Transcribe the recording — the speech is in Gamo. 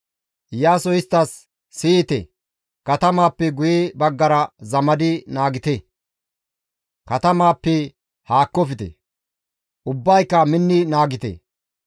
Iyaasoy isttas, «Siyite, katamaappe guye baggara zamadi naagite; katamaappe haakkofte; ubbayka minni naagite.